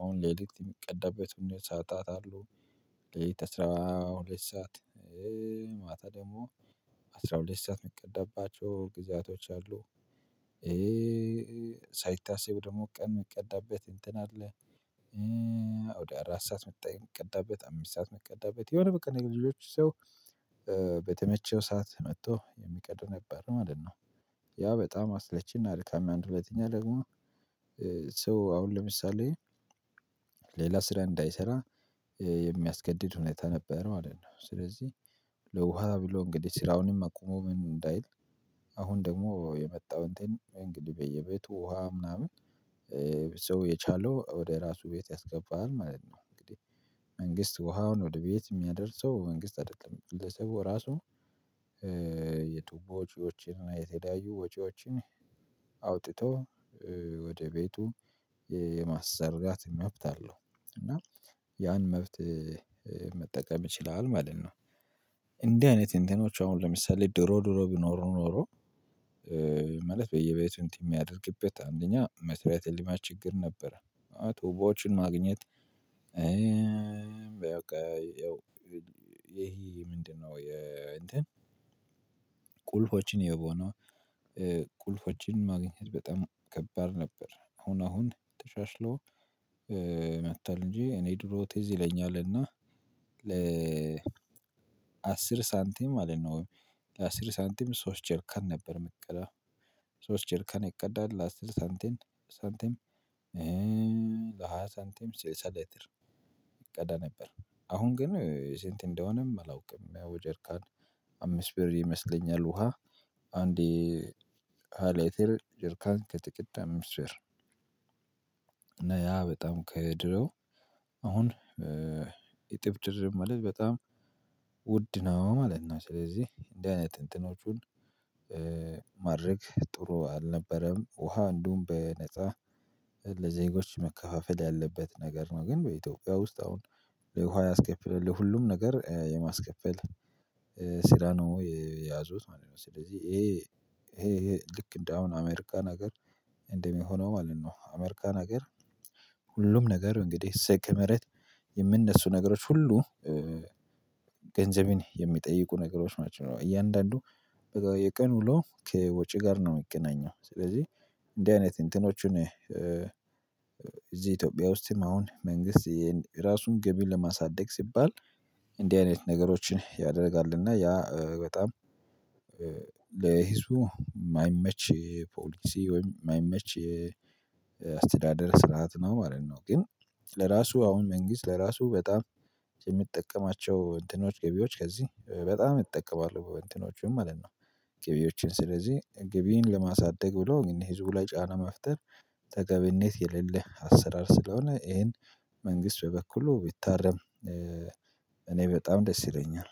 አሁን ለሊት የሚቀደበት ሰዓታት አለው። ሌሊት አስራ ሁለት ሰዓት ማታ ደግሞ አስራ ሁለት ሰዓት የሚቀድማቸው ግዛቶች አሉ። ሳይታሰብ ደግሞ ቀን የምቀዳበት እንትን አለ። ወደ አራት ሰዓት መጣ የሚቀዳበት አምስት ሰዓት ሚቀዳበት የሆነ በቀን የልጆች ሰው በተመቸው ሰዓት መጥቶ የሚቀዱ ነበሩ ማለት ነው። ያ በጣም አስለቺ እና አድካሚ አንድ ሁለተኛ ደግሞ ሰው አሁን ለምሳሌ ሌላ ስራ እንዳይሰራ የሚያስገድድ ሁኔታ ነበረው ማለት ነው። ስለዚህ ለውሃ ብሎ እንግዲህ ስራውንም አቁሞ ምን እንዳይል አሁን ደግሞ የመጣው እንትን እንግዲህ በየቤቱ ውሃ ምናምን ሰው የቻለው ወደ ራሱ ቤት ያስገባል ማለት ነው። እንግዲህ መንግስት ውሃውን ወደ ቤት የሚያደርሰው መንግስት አይደለም ግለሰቡ ራሱ የትቦ ወጪዎችን እና የተለያዩ ወጪዎችን አውጥተው ወደ ቤቱ የማሰራት መብት አለው። እና ያን መብት መጠቀም ይችላል ማለት ነው። እንዲህ አይነት እንትኖች አሁን ለምሳሌ ድሮ ድሮ ቢኖሩ ኖሮ ማለት በየቤቱን የሚያደርግበት አንደኛ መሰረተ ልማች ችግር ነበረ። አዎ ቱቦዎችን ማግኘት። በቃ ይሄ ምንድነው? የእንትን ቁልፎችን የቦነው ቁልፎችን ማግኘት በጣም ከባድ ነበር። አሁን አሁን ተሻሽሎ መጥቶል እንጂ እኔ ድሮ ቴዝ ይለኛል እና ለ አስር ሳንቲም ማለት ነው። ወይ? ለአስር ሳንቲም ሶስት ቸርከን ነበር መቀዳው ሶስት ቸርከን ይቀዳል ለ አስር ሳንቴም ሳንቴም ሳንቴም ስልሳ ሌትል ይቀዳ ነበር። አሁን ግን ስንት እንደሆነም አላውቅም። ያው ጀርካን አምስት ብር ይመስለኛል ውሃ አንዴ ሃያ ሌትር ጀርካን ከተቀዳ አምስ ብር። እና ያ በጣም ከድሮ አሁን የጥብጥር መልስ በጣም ውድ ነው ማለት ነው። ስለዚህ እንደዚህ አይነት እንትኖቹን ማድረግ ጥሩ አልነበረም። ውሃ እንደውም በነፃ ለዜጎች መከፋፈል ያለበት ነገር ነው። ግን በኢትዮጵያ ውስጥ አሁን ለውሃ ያስከፍለሉ ለሁሉም ነገር የማስከፍል ስራ ነው የያዙት ማለት ነው። ስለዚህ ይሄ ይሄ ይሄ ልክ እንደ አሁን አሜሪካን ሀገር እንደሚሆነው ማለት ነው። አሜሪካን ሀገር ነገር እንግዲህ ስኬ ምህረት የምነሱ ነገሮች ሁሉ ገንዘቤን የሚጠይቁ ነገሮች ናቸው። እያንዳንዱ የቀን ውሎ ከወጪ ጋር ነው የሚገናኘው። ስለዚህ እንደዚህ አይነት እንትኖቹን እዚህ ኢትዮጵያ ውስጥም አሁን መንግስት የራሱን ገቢ ለማሳደግ ሲባል እንዲህ አይነት ነገሮችን ያደርጋልና ያ በጣም ለህዝቡ የማይመች ፖሊሲ ወይም የማይመች አስተዳደር ስርዓት ነው ማለት ነው። ግን ለራሱ አሁን መንግስት ለራሱ በጣም የሚጠቀማቸው እንትኖች ገቢዎች ከዚህ በጣም ይጠቀማሉ በበንቲኖቹም ማለት ነው። ግቢዎችን ስለዚህ ግቢን ለማሳደግ ብሎ ግን ህዝቡ ላይ ጫና መፍጠር ተገቢነት የሌለ አሰራር ስለሆነ ይሄን መንግስት በበኩሉ ቢታረም እኔ በጣም ደስ ይለኛል